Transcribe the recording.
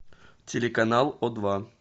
телеканал о два